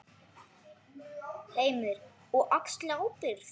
Heimir: Og axli ábyrgð?